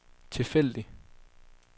tilfældig